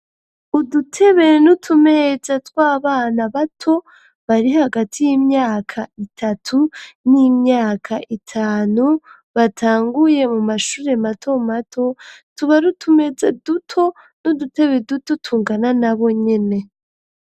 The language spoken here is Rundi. Udutebe n'utumeza tw'abana bato bari hagati y'imyaka itatu n'imyaka itanu batanguye mu mashure mato mato tuba rutumeza duto n'udutebe duto tungana na bonyene.